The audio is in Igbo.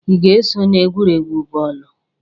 Ị ga-eso na egwuregwu bọọlụ?